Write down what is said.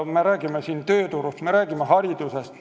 Me räägime siin tööturust, me räägime haridusest.